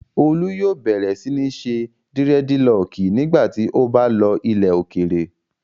Olú yóò bẹ̀rẹ̀ sí ní ṣe dírẹ́dilọọkì nígbà tí ó bá lọ ilẹ̀ òkèèrè.